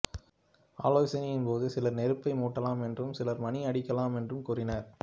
ஆலோசனையின் போது சிலர் நெருப்பை மூட்டலாம் என்றும் சிலர் மணி அடிக்கலாம் என்றும் கூறினர்